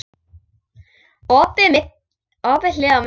Opið hlið á milli.